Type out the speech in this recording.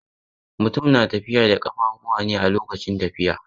Mutum na tafiya da ƙafuwa ne a lokacin tafiya.